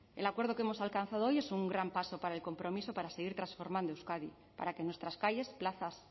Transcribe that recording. el acuerdo que hemos alcanzado hoy es un gran paso para el compromiso para seguir transformando euskadi para que nuestras calles plazas